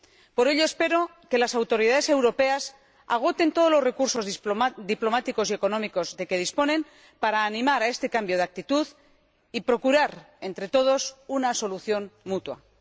Por ello, espero que las autoridades europeas agoten todos los recursos diplomáticos y económicos de que disponen para animar a este cambio de actitud y procurar entre todos una solución mutua.